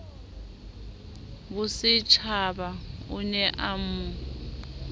bosetjhaba o ne a mo